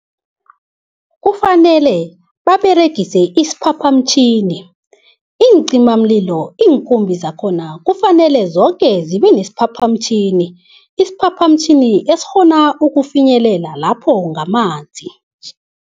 Kufanele baberegise isiphaphamtjhini. Iincimamlilo iinkumbi zakhona kufanele zoke zibe nesiphaphamtjhini, isiphaphamtjhini esikghona ukufinyelela lapho ngamanzi.